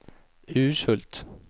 Urshult